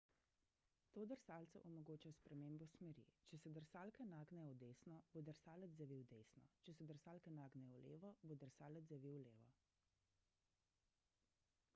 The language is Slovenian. to drsalcu omogoča spremembo smeri če se drsalke nagnejo v desno bo drsalec zavil desno če se drsalke nagnejo v levo bo drsalec zavil levo